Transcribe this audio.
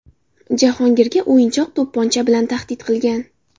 Jahongirga o‘yinchoq to‘pponcha bilan tahdid qilgan.